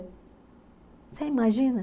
Você imagina?